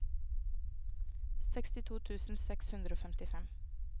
sekstito tusen seks hundre og femtifem